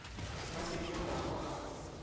ba se ke ba ba